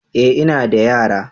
eh ina da yara.